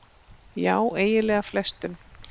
Já eiginlega flestum.